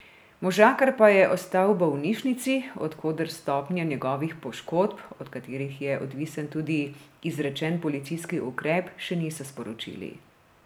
Možakar pa je ostal v bolnišnici, od koder stopnje njegovih poškodb, od katerih je odvisen tudi izrečen policijski ukrep, še niso sporočili.